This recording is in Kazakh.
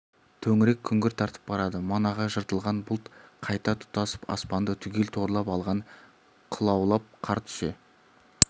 төңірек күңгірт тартып барады манағы жыртылған бұлт қайта тұтасып аспанды түгел торлап алған қылаулап қар түсе